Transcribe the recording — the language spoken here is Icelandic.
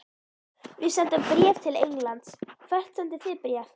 Við sendum bréf til Englands. Hvert sendið þið bréf?